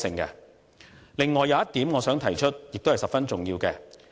此外，我想提出一點，這亦是十分重要的。